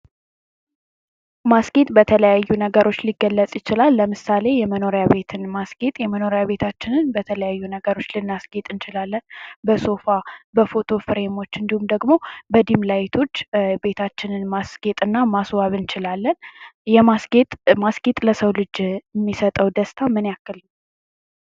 ማስጌጥ በተለያዩ ነገሮች ሊገለጽ ይችላል። ለምሳሌ የመኖሪያ ቤትን ማስጌጥ የመኖሪያ ቤታችንን በተለያዩ ነገሮች ልናስጌጥ እንችላለን። በሶፋ ፣በፎቶ ፍሬሞች እንዲሁም ደግሞ በዲም ላይቶች ቤታችንን ማስጌጥና ማስዋብ እንችላለን። የማስጌጥ ማስጌጥ ለሰው ልጅ የሚሰጠው ደስታ ምን ያክል ነው?